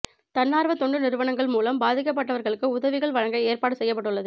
தன்னார்வ தொண்டு நிறுவனங்கள் மூலம் பாதிக்கப்பட்டவர்களுக்கு உதவிகள் வழங்க ஏற்பாடு செய்யப்பட்டுள்ளது